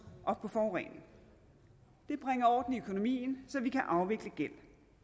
og forurening det bringer orden i økonomien så vi kan afvikle gæld